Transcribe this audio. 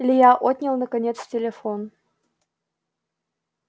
илья отнял наконец телефон